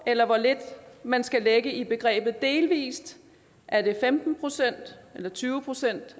eller hvor lidt man skal lægge i begrebet delvis er det femten procent eller tyve procent